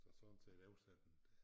Så sådan til at oversætte den